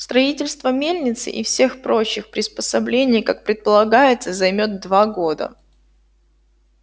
строительство мельницы и всех прочих приспособлений как предполагается займёт два года